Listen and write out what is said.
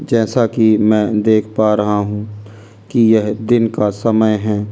जैसा कि मैं देख पा रहा हूं कि यह दिन का समय है।